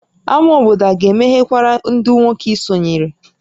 Ámá obodo a ga-emeghekwara ndị nwoke i sonyere?